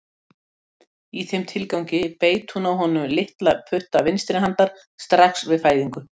Í þeim tilgangi beit hún af honum litla putta vinstri handar strax við fæðingu.